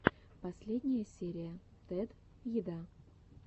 последняя серия тед еда